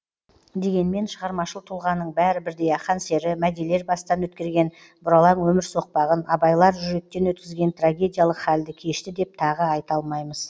дегенмен шығармашыл тұлғаның бәрі бірдей ақан сері мәдилер бастан өткерген бұралаң өмір соқпағын абайлар жүректен өткізген трагедиялық халді кешті деп тағы айта алмаймыз